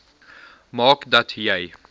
maak dat jy